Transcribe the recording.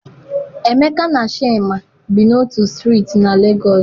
Emeka na Chima bi n'otu strịịtị na Lagos.